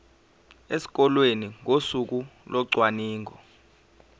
esikoleni ngosuku locwaningo